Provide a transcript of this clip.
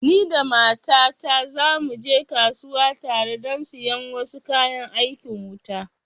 Ni da mata ta za mu je kasuwa tare don siyan wasu kayan aikin wuta